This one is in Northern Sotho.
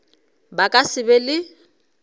ba ka se be le